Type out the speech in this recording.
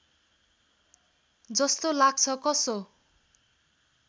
जस्तो लाग्छ कसो